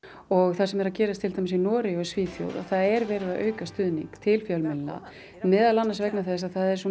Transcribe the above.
og það sem er að gerast til dæmis í Noregi og Svíþjóð er verið að auka stuðning til fjölmiðlana meðal annars vegna þess að það er svo